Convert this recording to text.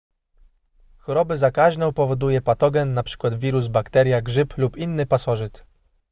chorobę zakaźną powoduje patogen np wirus bakteria grzyb lub inny pasożyt